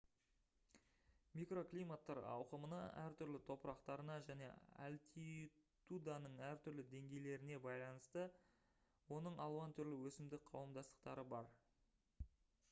микроклиматтар ауқымына әртүрлі топырақтарына және альтитуданың әртүрлі деңгейлеріне байланысты оның алуан түрлі өсімдік қауымдастықтары бар